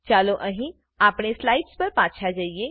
ચાલો અહીં આપણે સ્લાઇડ્સ પર પાછા જઈએ